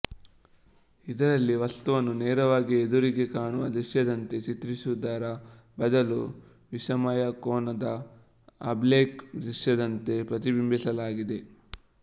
ಇದರಲ್ಲಿ ವಸ್ತುವನ್ನು ನೇರವಾಗಿ ಎದುರಿಗೆ ಕಾಣುವ ದೃಶ್ಯದಂತೆ ಚಿತ್ರಿಸುವುದರ ಬದಲು ವಿಷಮಕೋನದ ಅಬ್ಲೀಕ್ ದೃಶ್ಯದಂತೆ ಪ್ರತಿಬಿಂಬಿಸಲಾಗಿದೆ